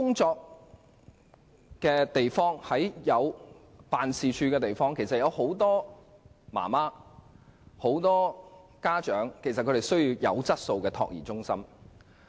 在辦公室林立的地區，其實有很多家長需要優質託兒中心。